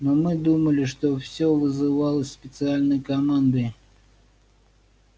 но мы думали что все вызывалось специальной командой